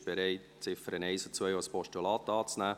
Sie ist bereit, die Ziffern 1 und 2 als Postulat anzunehmen.